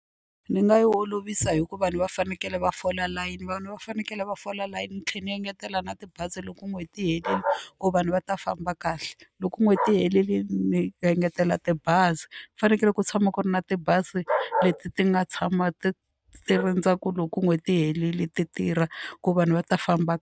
Ni nga yi olovisa hi ku vanhu va fanekele va fola layini vanhu va fanekele va fola layini ni tlhela ni engetela na tibazi loko n'hweti yi herile ku vanhu va ta famba kahle loko n'hweti yi herile ni engetela tibazi ku fanekele ku tshama ku ri na tibazi leti ti nga tshama ti ti rindza ku loko n'hweti yi herile ti tirha ku vanhu va ta famba.